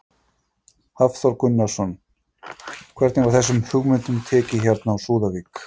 Hafþór Gunnarsson: Hvernig var þessum hugmyndum tekið hérna á Súðavík?